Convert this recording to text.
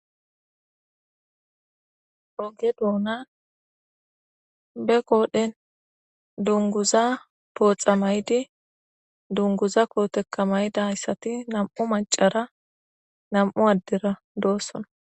oge duona be koodhen dunguza pooxa maydi dunguza kootekka mayda hayssati nam7u macara nam7u addira doossona